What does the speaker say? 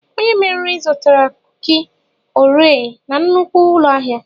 Onye mmeri zụtara kuki oreo na nnukwu ụlọ ahịa.